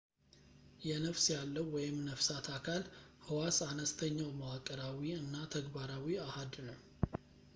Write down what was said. የነፍስ ያለው ነፍሳት አካል ሕዋስ አነስተኛው መዋቅራዊ እና ተግባራዊ አሃድ ነው